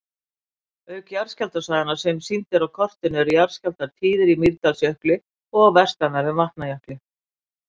Auk jarðskjálftasvæðanna sem sýnd eru á kortinu eru jarðskjálftar tíðir í Mýrdalsjökli og vestanverðum Vatnajökli.